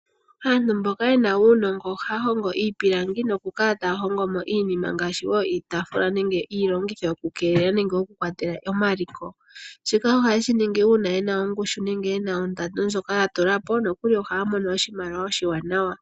Aantu mboka yena uunongo ohaya hongo iipilangi nokukala taya hongo mo iinima, ngaashi wo iitafula nenge iilongitho yokukeelela nenge yokukwatela omaliko. Shika ohaye shi ningi uuna yena ongushu nenge yena ondando ndjoka ya tula po, nokuli ohaya mono oshimaliwa oshiwanawa.